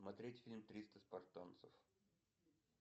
смотреть фильм триста спартанцев